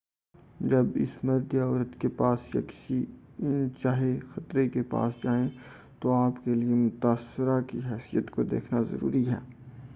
جب آپ اس مرد یا عورت کے پاس یا کسی ان چاہے خطرے کے پاس جائیں تو آپ کے لئے متاثرہ کی حیثیت کو دیکھنا ضروی ہے